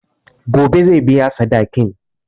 Gobe zai biya sadakin.